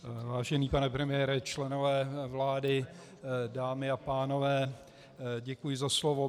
Vážený pane premiére, členové vlády, dámy a pánové, děkuji za slovo.